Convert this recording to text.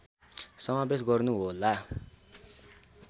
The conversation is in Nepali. समावेश गर्नु होला